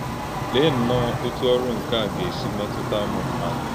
Lẹ́e nnọọ ọ́tụ́ ọ̀rụ̀ nke a gà-èsì métụta ụmụ mmádụ!